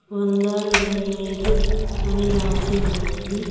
వంద ఇరవై ఐదు అని రాసి ఉన్నది.